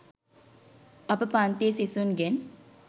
අප පන්තියේ සිසුන්ගෙන්